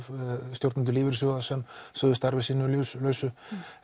stjórnendur lífeyrissjóða sem sögðu starfi sínu lausu